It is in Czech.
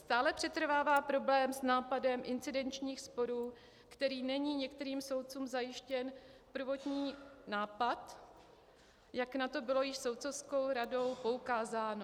Stále přetrvává problém s nápadem incidenčních sporů, kde není některým soudcům zajištěn prvotní nápad, jak na to bylo již soudcovskou radou poukázáno.